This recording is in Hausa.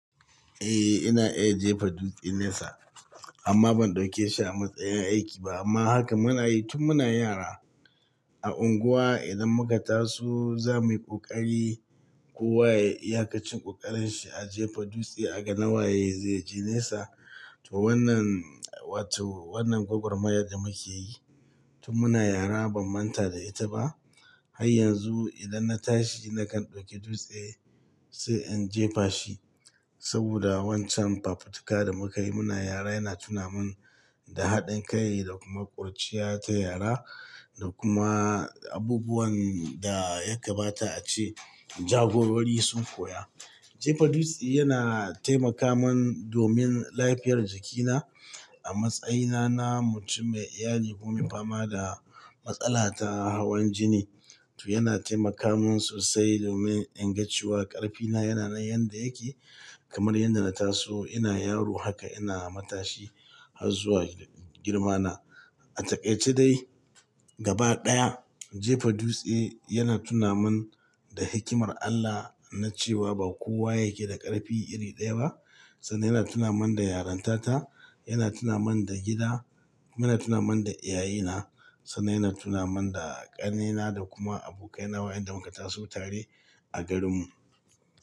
Eh, ina iya jefa dutse nesa amma ban ɗauke shi a matsayin aiki ba amma haka muna yi tun muna yara. A unguwa idan muka taso zamu yi ƙoƙari, kowa ya iya ƙarin ƙoƙarin shi a jefa dutse a ga nawaye zai je nesa. To wannan, wato wannan gwagwarmayar da muke yi tun muna yara ban manta da ita ba. Har yanzu idan na tashi nakan ɗauki dutse sai in jefa shi saboda wancan fafutuka da mukayi muna yara yana tuna min da haɗin kai da kuma ƙurciya ta yara da kuma abubuwan da ya gabata ace jagorari sun koya. Jefa dutse yana taimaka min domin lafiyar jikina. A matsayina na mutum mai iyali kuma fama da matsala ta hawan jini, to yana taimaka min sosai domin in gaggci wa ƙarfina yana nan yanda yake kamar yadda na taso ina yaro haka ina matashi har zuwa girmana. A takaice dai gaba ɗaya jefa dutse yana tuna min da hikimar Allah na cewa ba kowa yake da ƙarfi iri ɗaya ba sannan yana tuna min da yarantata, yana tuna min da gida, yana tuna min da iyayena sannan yana tuna min da ƙannena da kuma abokaina wayanda muka taso tare a garinmu.